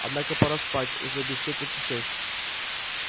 однако пора спать уже без четверти шесть